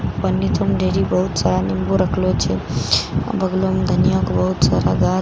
पनी त मे ढेरी बहुत सारा नींबू रखलो छे आ बगलो मे धनियाक बहुत सारा गाछ छे ध --